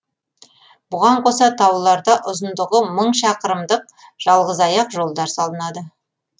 бұған қоса тауларда ұзындығы мың шақырымдық жалғызаяқ жолдар салынады